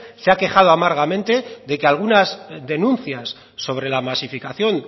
se ha quejado amargamente de que algunas denuncias sobre la masificación